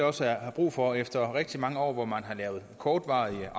også er brug for efter rigtig mange år hvor man har lavet kortvarige